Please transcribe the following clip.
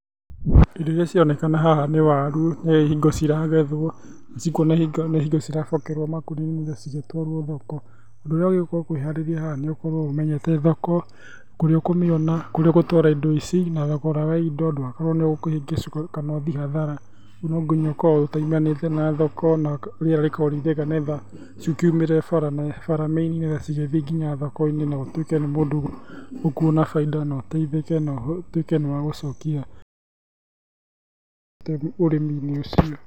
Indo iria cironekana haha nĩ waru nĩ hingo ciragethwo. Nĩ hingo cirabokerwo makũnia-inĩ cigĩtwarwo thoko. Ũndũ urĩa wagĩrĩirwo gũkorwo ũkĩharĩria haha nĩ ũkorwo ũmenyete thoko, kũrĩa ũkũmĩona kũrĩa ũgũtwara indo ici. Na thogora wa indo ndũgagĩkorwo nĩ ũkũhĩngĩcwo kana ũthiĩ hathara, ũguo no nginya ũkorwo ũtaimanĩte na thoko, na rĩera rĩkorwo rĩ rĩega nĩ getha cikiumĩre bara, bara mĩini nĩ getha cigĩthiĩ nginya thoko-inĩ, na ũtuike nĩ mũndũ ũkuona bainda na ũteithike na ũtuike nĩ wagĩcokia ũrimi-inĩ ũcio.